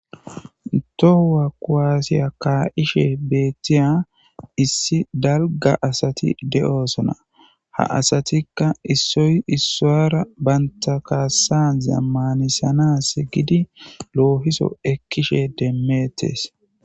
Tohua koaasiya kaa7ishe beettiya issi dalga asati de7oosona ha asatikka issoy issowyara banta kaassa zammanisana se gidi loohiso ekkishe demmettes.